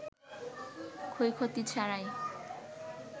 ক্ষয়ক্ষতি ছাড়াই